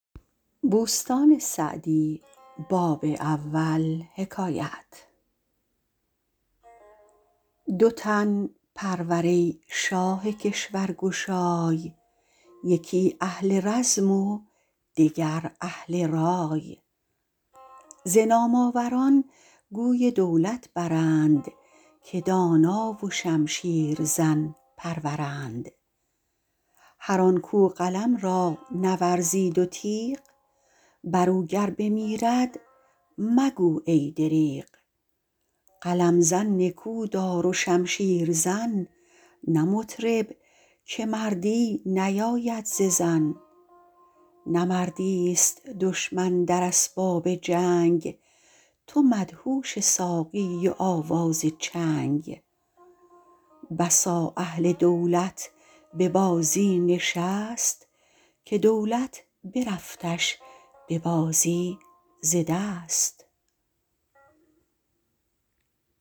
دو تن پرور ای شاه کشور گشای یکی اهل رزم و دگر اهل رای ز نام آوران گوی دولت برند که دانا و شمشیر زن پرورند هر آن کاو قلم را نورزید و تیغ بر او گر بمیرد مگو ای دریغ قلم زن نکودار و شمشیر زن نه مطرب که مردی نیاید ز زن نه مردی است دشمن در اسباب جنگ تو مدهوش ساقی و آواز چنگ بسا اهل دولت به بازی نشست که دولت برفتش به بازی ز دست